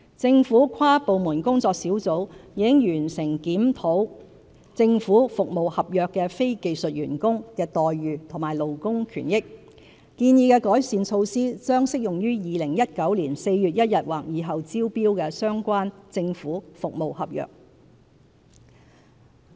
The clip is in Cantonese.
政府跨部門工作小組已完成檢討政府服務合約的非技術員工的待遇和勞工權益，建議的改善措施將適用於2019年4月1日或以後招標的相關政府服務合約。